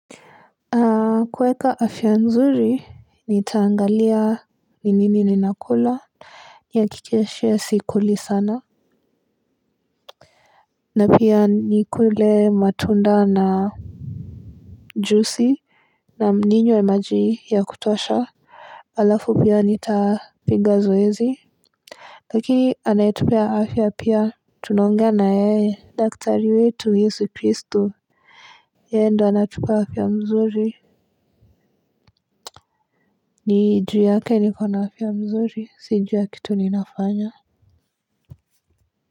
Kweka afya mzuri ni taangalia. Ninini ni nakula. Ni akikeshe ya sikuli sana. Na pia ni kule matunda na Jusi. Na ninywe majii ya kutosha. Alafu pia nitapiga zoezi. Lakini anaetupea afya pia. Tunaongea na yeye daktari wetu Yesu Kristo. Yeye ndo anatupa afya mzuri. Nijuu yake nikona afya mzuri si juu ya kitu ninafanya.